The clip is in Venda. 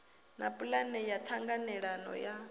na pulane ya ṱhanganelano ya